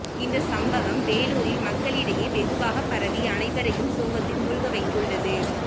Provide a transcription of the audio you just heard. இந்த சம்பவம் வேலூரில் மக்களிடையே வெகுவாக பரவி அனைவரையும் சோகத்தில் மூழ்க வைத்துள்ளது